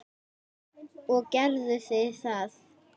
Og gerðu þið það?